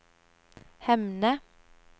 Hemne